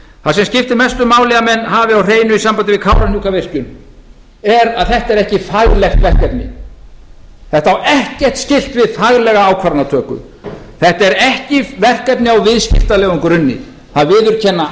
það sem skiptir mestu máli að menn hafi á hreinu í sambandi við kárahnjúkavirkjun er að þetta er ekki faglegt verkefni þetta á ekkert skylt við faglega ákvarðanatöku þetta er ekki verkefni á viðskiptalegum grunni það viðurkenna